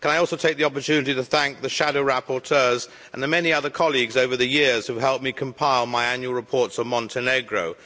Can I also take the opportunity to thank the shadow rapporteurs and the many other colleagues over the years who helped me compile my annual reports on Montenegro.